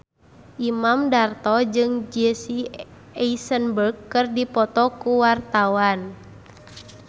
Imam Darto jeung Jesse Eisenberg keur dipoto ku wartawan